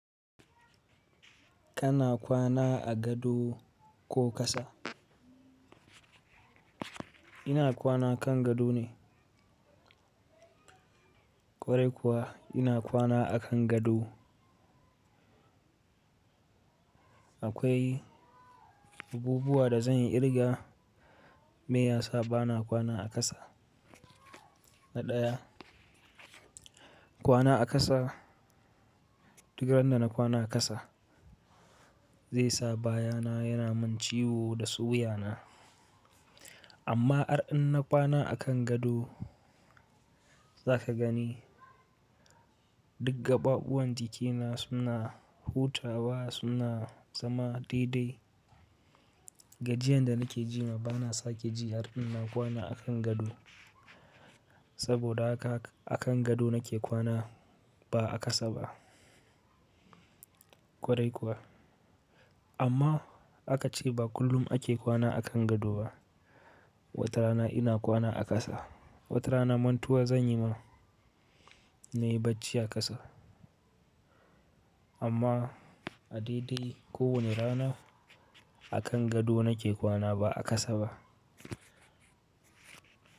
Kana kwana a gado ko ƙasa? Ina kwana kan gado ne. Kwarai kuwa ina kwana akan gado. Akwai abubuwa da zan yi kirga me yasa bana kwana a ƙasa. Na ɗaya, kwana a ƙasa, duk randa na kwana a ƙasa zai sa baya na yana min ciwo da suwuya na. Amma ar in na kwana akan gado za ka gani duk gaɓaɓuwan jikina suna hutawa suna zama dai-dai. Gajiyan da nake jima bana sake ji ar in na kwana akan gado. Saboda haka akan gado nake kwana ba a ƙasa ba. Kwarai kuwa. Amma aka ce ba kullum ake kwana akan gado ba. Wata rana ina kwana a ƙasa. Wata rana mantuwa zan yi ma nayi bacci a ƙasa. Amma a dai-dai ko wani rana akan gado nake kwana ba a ƙasa ba.